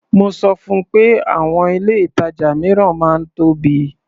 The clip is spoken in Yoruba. Mo sọ fun pé àwọn ilé-ìtàjà mìíràn máa ń tóbi.